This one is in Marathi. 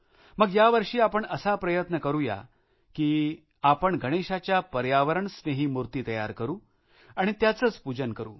मग यावर्षी आपण असा प्रयत्न करुया का की आपण गणेशाच्या पर्यावरण स्नेही मूर्ती तयार करु आणि त्यांचेच पूजन करु